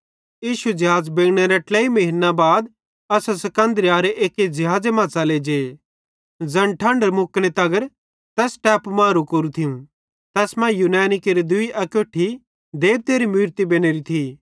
इश्शू ज़िहाज़ बिगड़नेरे ट्लेई महीन्ना बाद असां सिकन्दरियारे एक्की ज़िहाज़े मां च़ले जे ज़ैन ठंढ मुकने तगर तैस टैपू मां रुकेरु थियूं तैस मां यूनैनी केरि दूई अकोट्ठी देबतेरी मूरतां बनोरी थी